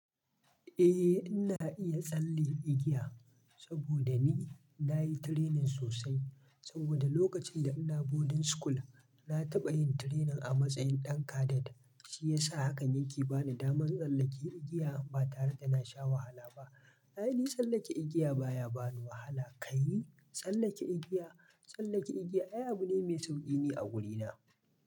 Eh ina iya tsalle igiya saboda ni nayi training sosai. Saboda lokacin da ina boarding school na taɓa yin training a matsayin ɗan cadet, shi yasa hakan yake bani daman tsallake igiya ba tare da na sha wahala ba. Ai ni tsallake igiya baya bani wahala. Kai tsallake igiya, tsallake igiya ai abu ne mai sauƙi ni a wurina.